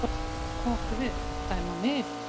Hvað áttu við, dæma mig?